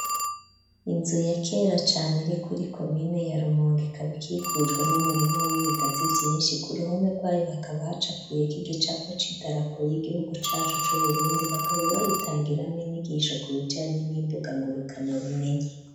Inzu ya kera cane, iri kuri komine ya rumonge ikabikikujwe n'ibigazi vyinshi ,ku ruhome rwayo hakaba hacapuye ko'igicapo c'idarapo y'igihugu cacu c'uburundi ,bakaba bayitangiramwo inyigisho ku bijanye n'imbuga ngurukana bumenyi.